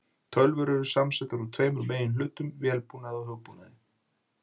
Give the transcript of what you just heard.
Tölvur eru samansettar úr tveimur meginhlutum, vélbúnaði og hugbúnaði.